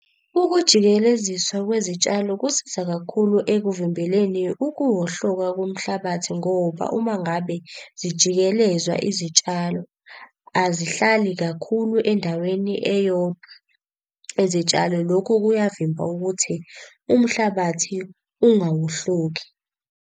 Ukujikeleziswa kwezitshalo kusiza kakhulu ekuvimbeleni ukuwohloka komhlabathi ngoba uma ngabe zijikelezwa Izitshalo, azihlali kakhulu endaweni eyodwa izitshalo. Lokhu kuyavimba ukuthi umhlabathi ungawohloki.